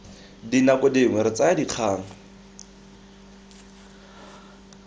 dinako dingwe re tsaya dikgang